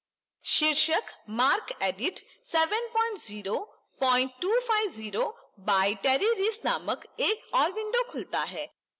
शीर्षक marcedit 70250 by terry reese नामक एक ओर window खुलता है